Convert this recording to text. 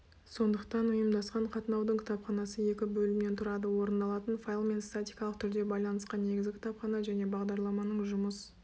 сондықтан ұйымдасқан қатынаудың кітапханасы екі бөлімнен тұрады орындалатын файлмен статикалық түрде байланысқан негізгі кітапхана және бағдарламаның жұмыс